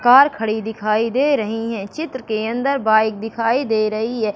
Car खड़ी दिखाई दे रही है चित्र के अंदर बाइक दिखाई दे रही है।